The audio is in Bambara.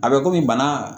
A bɛ komi bana